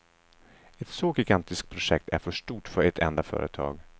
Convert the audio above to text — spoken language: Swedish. Ett så gigantiskt projekt är för stort för ett enda företag.